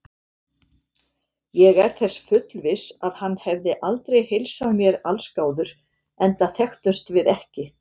Ég er þess fullviss, að hann hefði aldrei heilsað mér allsgáður, enda þekktumst við ekki.